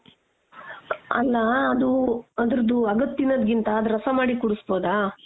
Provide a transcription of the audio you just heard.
ಅಲ್ಲಾ ಅದು ಅದೃದ್ದು ಅಗ್ದ್ ತಿನ್ನೋದ್ಕಿಂತ ಅದ್ ರಸ ಮಾಡಿ ಕುಡುಸ್ಬೋದಾ?